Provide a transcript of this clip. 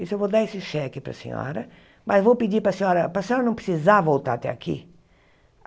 Isso eu vou dar esse cheque para a senhora, mas vou pedir para a senhora, para a senhora não precisar voltar até aqui.